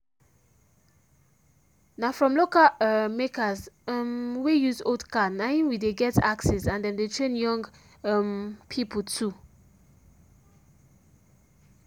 na from local um makers um wey use old car na him we dey get axes and them dey train young um people to